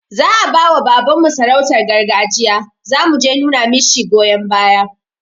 Za'a bawa baban mu sarautan garjiya, zamu je numa mishi goyon baya